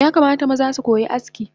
Yakamata maza sukoyi aski